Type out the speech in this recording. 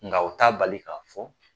Nga u ta bali k'a fɔ